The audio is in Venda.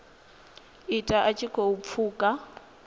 ita a tshi khou pfuka